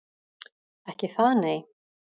Ekki það nei.